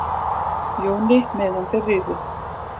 Jóni meðan þeir riðu.